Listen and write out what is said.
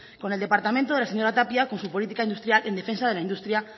con el departamento de la señora tapia con su política industrial en defensa de la industria